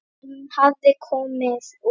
Hann hafði komið úr